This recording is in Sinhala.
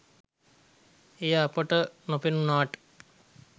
එය අපට නොපෙනුනාට